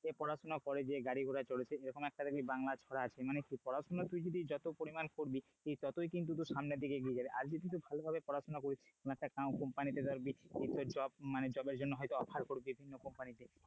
পড়াশোনা করে যে গাড়ি ঘোড়া চড়ে সে এরকম একটা দেখবি বাংলা ছড়া আছে মানে কি পড়াশোনা তুই যদি যত পরিমান করবি তত কিন্তু তুই সামনের দিকে এগিয়ে যাবি আজ তো তুই পড়াশোনা ভালোভাবে করিস একটা company তে ধর job এর জন্য offer হয়ত,